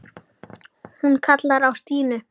Hún kallaði á Stínu.